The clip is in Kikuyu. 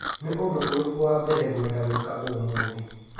Nĩ ũndũ ũrĩkũ wa mbere ngwenda gwĩka ũmũthĩ?